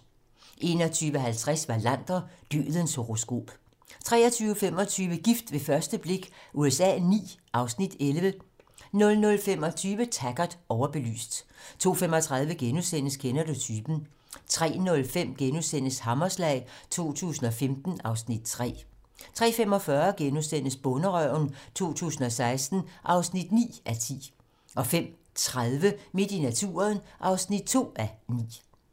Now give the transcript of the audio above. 21:50: Wallander: Dødens horoskop 23:25: Gift ved første blik USA IX (Afs. 11) 00:25: Taggart: Overbelyst 02:35: Kender du typen? * 03:05: Hammerslag 2015 (Afs. 3)* 03:45: Bonderøven 2016 (9:10)* 05:30: Midt i naturen (2:9)